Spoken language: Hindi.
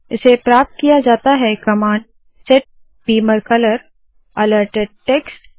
इसे प्राप्त किया जाता है command set beamer colour - alerted text set beamer colour - alerted text